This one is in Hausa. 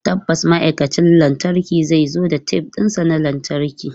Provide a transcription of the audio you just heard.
Tabbas ma'aikacin lantarkin zai zo da tef ɗinsa na lantarki.